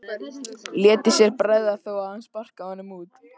Léti sér ekki bregða þó að hann sparkaði honum út.